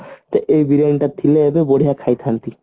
ଏଇ ବିରିୟାନୀ ଟା ଥିଲେ ଏବେ ବଢିଆ ଖାଇଥାନ୍ତି